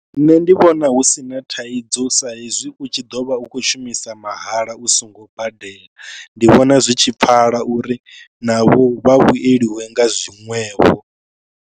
Nṋe ndi vhona hu si na thaidzo sa hezwi u tshi ḓo vha u kho shumisa mahala u songo badela. Ndi vhona zwi tshi pfhala uri navho vha vhueliwe nga zwiṅwevho.